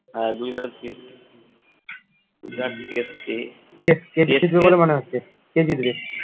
হ্যাঁ গুজরাট আর CSK যাক